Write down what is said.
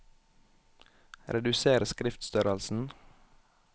Reduser skriftstørrelsen